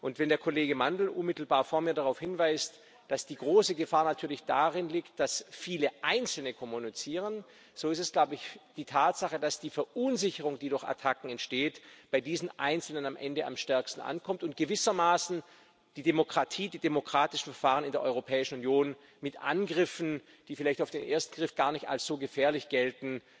Und wenn der Kollege Mandl unmittelbar vor mir darauf hinweist, dass die große Gefahr natürlich darin liegt, dass viele Einzelne kommunizieren, so ist es die Tatsache, dass die Verunsicherung, die durch Attacken entsteht, bei diesen Einzelnen am Ende am stärksten ankommt und gewissermaßen die Demokratie, die demokratische Verfahren in der Europäischen Union mit Angriffen, die vielleicht auf den ersten Blick gar nicht als so gefährlich gelten,